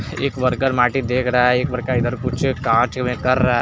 एक वर्कर माटी देख रहा है एक वर्कर इधर कुछ कांच में कर रहा हैं।